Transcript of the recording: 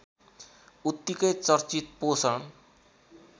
उत्तिकै चर्चित पोषण